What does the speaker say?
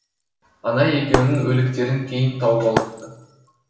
ана екеуінің өліктерін кейін тауып алыпты